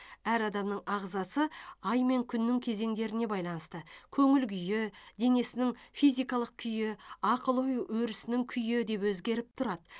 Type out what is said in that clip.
әр адамның ағзасы ай мен күннің кезеңдеріне байланысты көніл күйі денесінің физикалық күйі ақыл ой өрісінің күйі де өзгеріп тұрады